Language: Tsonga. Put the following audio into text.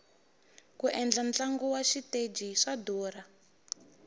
ku endla ntlangu wa xiteji swa durha